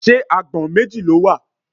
Ṣé agbọ̀n méjì ló wà?